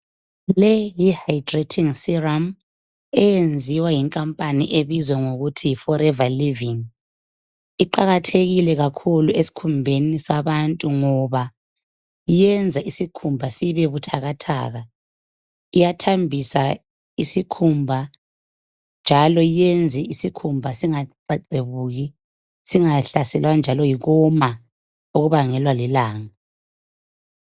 Le yihydrating serum eyenziwa yinkampani ebizwa ngokuthi yiforever living. Iqakathekile kakhulu esikhumbeni sabantu ngoba iyenza isikhumba sibe buthakathaka, iyathambisa isikhumba njalo yenze isikhumba singaxexebuki singahlaselwa njalo yikuwoma okubangelwa lilanga.